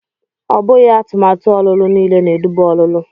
Ọ bụghị atụmatụ ọlụlụ niile na-eduba ọlụlụ.